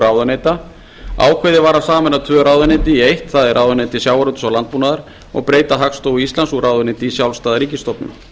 ráðuneyta ákveðið var að sameina tvö ráðuneyti í eitt það er ráðuneyti sjávarútvegs og landbúnaðar og breyta hagstofu íslands úr ráðuneyti í sjálfstæða ríkisstofnun